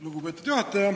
Lugupeetud juhataja!